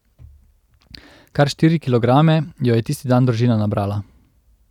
Kar štiri kilograme jo je tisti dan družina nabrala.